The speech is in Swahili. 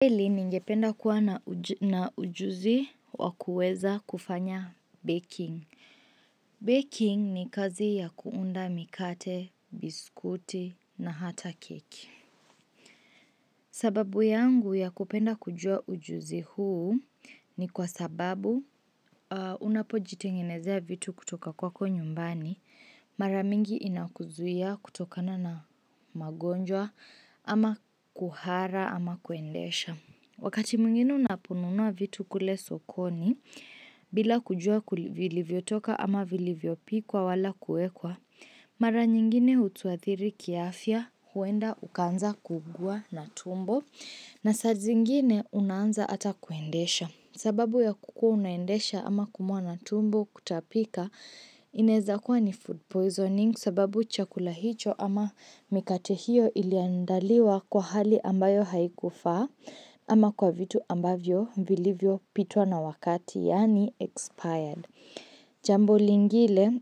Pili ningependa kuwa na ujuzi wa kuweza kufanya baking. Baking ni kazi ya kuunda mikate, biskuti na hata keki. Sababu yangu ya kupenda kujua ujuzi huu ni kwa sababu unapojitengenezea vitu kutoka kwako nyumbani. Mara mingi inakuzuia kutokana na magonjwa ama kuhara ama kuendesha. Wakati mwingine unaponunua vitu kule sokoni bila kujua vlivivyotoka ama vilivyopikwa wala kuwekwa, mara nyingine hutuathiri kiafya huenda ukaanza kuugua na tumbo na saa zingine unaanza hata kuendesha. Sababu ya kukuwa unaendesha ama kuumwa na tumbo kutapika, inaeza kuwa ni food poisoning sababu chakula hicho ama mikate hiyo iliandaliwa kwa hali ambayo haikufaa ama kwa vitu ambavyo, vilivyopitwa na wakati, yaani expired. Jambo lingile,